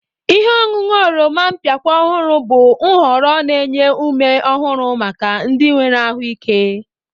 Ihe ọṅụṅụ oroma mpịakwa ọhụrụ bụ nhọrọ na-enye ume ọhụrụ maka ndị nwere ahụike.